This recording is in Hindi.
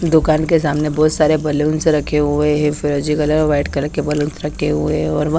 दुकान के सामने बोहोत सारे बैलून्स रखे हुए है फिरोजी कलर और वाइट कलर के बैलून्स रखे हुए है और वः --